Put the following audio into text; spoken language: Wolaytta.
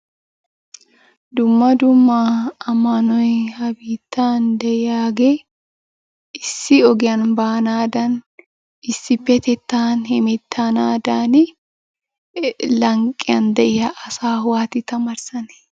Dumma dumma ammanoy ha biittan de"iyaage issi ogiyan baanaadan; issippettettan hemettanaadan lanqqiyan de"iya asaa waati taamaarissane?